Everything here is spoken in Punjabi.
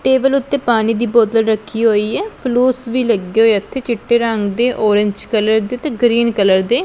ਟੇਬਲ ਓੱਤੇ ਪਾਣੀ ਦੀ ਬੋਤਲ ਰੱਖੀ ਹੋਏ ਆ ਫਲੂਸ ਵੀ ਲੱਗੀ ਹੋਏ ਉੱਥੇ ਚਿੱਟੇ ਰੰਗ ਦੇ ਔਰੇਂਜ ਕਲਰ ਦੇ ਤੇ ਗ੍ਰੀਨ ਕਲਰ ਦੇ।